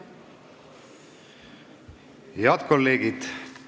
Head kolleegid!